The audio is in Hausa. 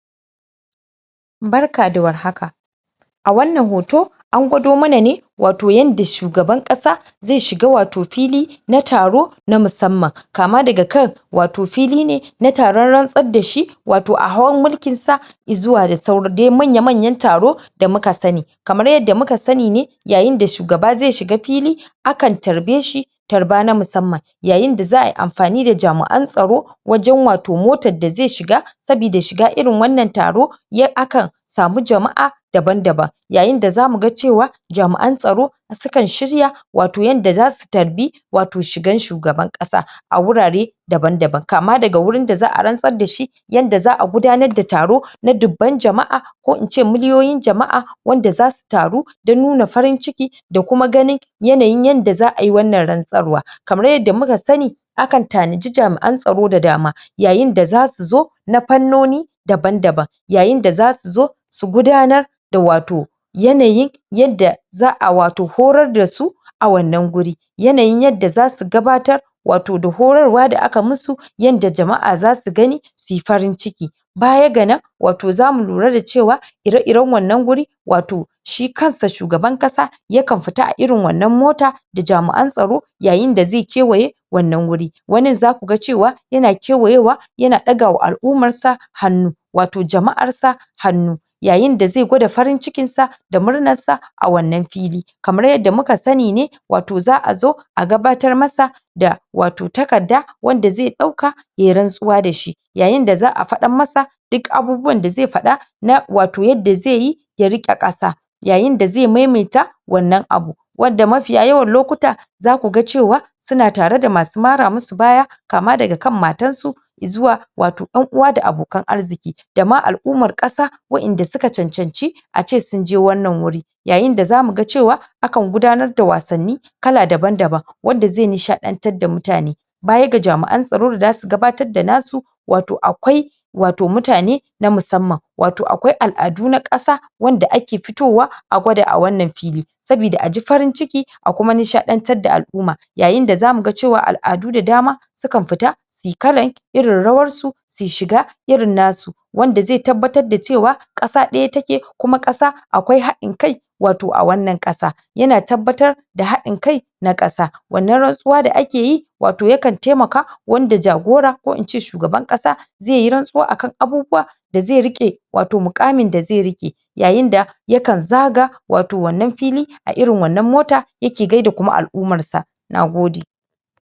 barka da war haka a wannan hoto angwado mana ne wato yanda shugaban ƙasa zai shiga wato fili na taro na musamman kama daga kan wato fili ne na taran rantsar dashi wato a hawan mulkinsa izuwa da dai manya manyan taro taro kamar yanda mukasa ni ne yayin da shugaba zai shiga fili akan tarbeshi tarba na musamman yayin da za ayi amfani da jami'an tsaro wajan wato motar da zai shiga sabida shiga irin wannan taro akan samu jama'a daban daban yayin da zamu ga cewa jami'an tsaro sukan shirya wato yanda zasu tarbi shigan shugaban ƙasa a wurare daban daban kama daga wurin da za a rantsar dashi yanda za a gudanar da taro na dubban jama'a ko inci miliyoyin jama'a wanda zasu taru dan nuna farin ciki da kuma ganin yanayin yanda za ayi wannan rantsarwa kamar yanda muka sani akan tanadi jami'an tsaro da dama yayin da zasu zo na fannoni daban daban yayin da zasu zo su gudanar da wato yanayin yanda za a wato horar dasu a wannan gurin yanayin yanda zasu gabatar wato da horarwa da aka musu yanda jama'a zasu gani suyi farin ciki baya ga nan zamu wato lura da cewa ire iran wannan guri wato shi kansa shugaban ƙasa yakan fita a irin wannan mota da jami'an tsaro yayin da zai kewaye wannan wuri wannan zaku ga cewa yana kewaye wa yana ɗaga wa al'umarsa hannu wato jama'arsa hannu yayin da zai gwada farin cikinsa da murnarsa a wannan fili kamar yanda muka sani ne wato za a zo a gabatar masa da wato takaddar wanda zai dauka yayi rantsuwa dashi yayin da za a faɗa masa duk abunda zai faɗa na wato yadda zaiyi ya riƙe ƙasa yayin da zai maimaita wannan abu wadda mafiya yawan lokuta zaku ga cewa suna tare da masu mara musu baya kama daga kan matansu izuwa wato ƴan'uwa da abokan arziki dama al'ummar ƙasa waɗanda suka cancanci a ce sunje wannan wuri yayin da zamu ga cewa akan gudanar da wasan ni kala daban daban wanda zai nishaɗantar da mutane baya ga jami'an tsaro da zasu gabatar da nasu wato akwai wato mutane na musamman wato akwai al'adu na ƙasa wanda ake fitowa a gwada a wannan fili sabida aji farinciki a kuma nishaɗantar da al'uma yayin da zamu ga cewa al'adu da dama sukan fita suyi kalar irin rawarsu suyi shiga irin nasu wanda zai tabbatar da cewa ƙasa ɗaya take kuma akwai haɗin kai wato a wannan ƙasa yana tabbatar haɗin kai na ƙasa wannan rantsuwa da akeyi wato yakan taimaka wanda jagora ko ince shugaban ƙasa zaiyi rantsuwa akan da zai riƙe wato muƙamin da zai rike yayin da yakan zaga wato wannan fili a irin wannan mota yake gaida kuma al'ummarsa nagode